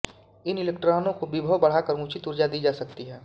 इन इलेक्ट्रानों को विभव बढ़ाकर उचित ऊर्जा दी जा सकती है